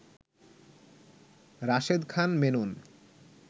Rashed Khan Menon